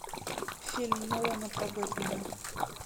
фильм нолана про бэтмена